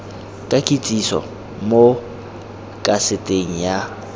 ka kitsiso mo kaseteng ya